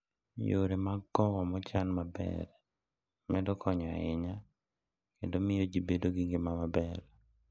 Yore mag kowo mochan maber medo konyo ahinya kendo miyo ji bedo gi ngima maber.